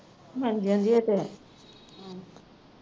ਮਾਰੀ ਜਾਂਦੀ ਹੈ ਇਹ ਤਾਂ